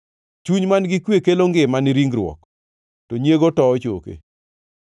Chuny man-gi kwe kelo ngima ni ringruok, to nyiego towo choke.